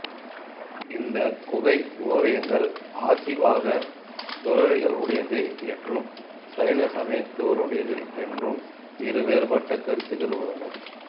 இந்த குகை ஓவியங்கள் ஆசீவக துறவிகளுடையது என்றும் சைன சமயத்தினருடையது என்றும் இருவேறுபட்ட கருத்துகள் உள்ளன